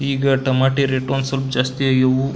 ಈಗ tomato rate ಒಂದ್ ಸ್ವಲ್ಪ ಜಾಸ್ತಿ ಆಗ್ಯವು.